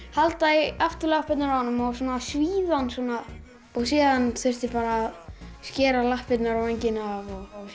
halda í afturlappirnar á honum og svíða hann svona síðan þurfti að skera lappirnar og vængina af